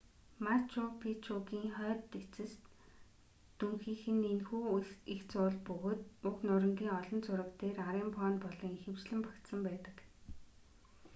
мачу пичугийн хойд эцэст дүнхийх нь энэхүү эгц уул бөгөөд уг нурангийн олон зураг дээр арын фон болон ихэвчлэн багтсан байдаг